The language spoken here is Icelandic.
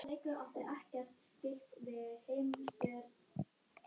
Svo er hann hnýsinn líka.